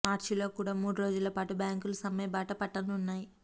మార్చిలో కూడా మూడు రోజుల పాటు బ్యాంకులు సమ్మె బాట పట్టనున్నాయి